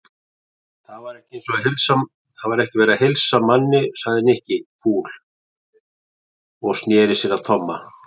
Það er ekki verið að heilsa manni sagði Nikki fúll og snéri sér að Tomma.